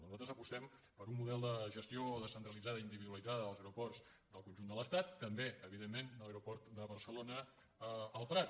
nosaltres apostem per un model de gestió descentralitzada i individualitzada dels aeroports del conjunt de l’estat també evidentment de l’aeroport de barcelona el prat